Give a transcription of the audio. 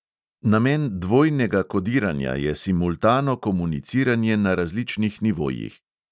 Namen dvojnega kodiranja je simultano komuniciranje na različnih nivojih.